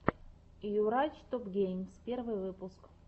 йурач топгеймс первый выпуск